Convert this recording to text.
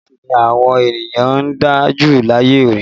Iná gaasi ni àwọn ènìyàn ń dá jù láyé lónìí